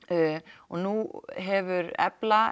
og nú hefur EFLA